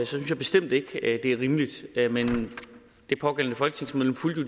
synes jeg bestemt ikke det er rimeligt men det pågældende folketingsmedlem fulgte